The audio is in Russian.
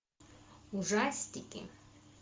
ужастики